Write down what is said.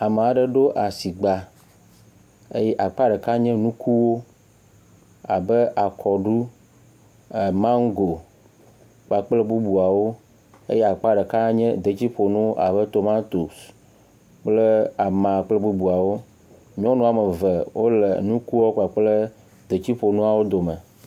Ame aɖe ɖo asigba eye akpa ɖeka nye ŋkuwo abe; akɔɖu, amango kpakpl bubuawo eye akpa ɖeka nye detsiƒonuwo abe; tomatosi, kple ama kple bubuawo. Nyɔnu ame eve wo le nukuawo kpakple detsiƒonuawo dome.